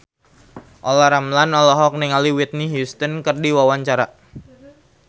Olla Ramlan olohok ningali Whitney Houston keur diwawancara